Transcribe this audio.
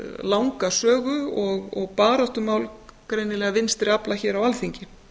langa sögu og baráttumál greinilega vinstri afla hér á alþingi